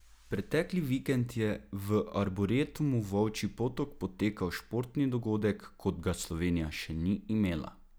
Pretekli vikend je v Arboretumu Volčji Potok potekal športni dogodek, kot ga Slovenija še ni imela!